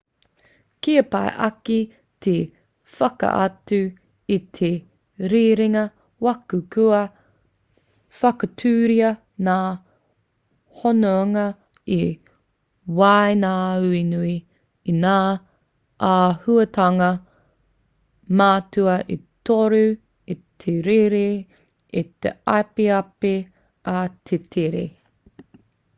kia pai ake te whakaatu i te rerenga waka kua whakatūria ngā hononga i waenganui i ngā āhuatanga matua e toru: 1 te rere 2 te apiapi ā 3 te tere